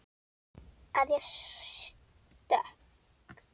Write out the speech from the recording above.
Að ég sé stök.